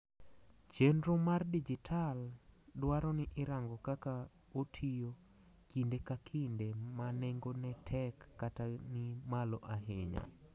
chenro mar dijital dwaro ni irango kaka otiyo kinde ka kinde ma nengone tek kata ni malo ayinya